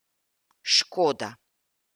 Škoda!